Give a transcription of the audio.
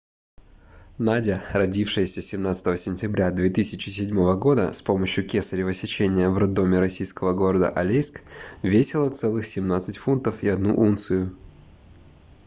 надя родившаяся 17 сентября 2007 года с помощью кесарева сечения в роддоме российского города алейск весила целых 17 фунтов и одну унцию